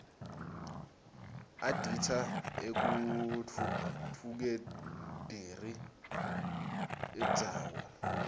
adita ekutfutfukderi irdzawo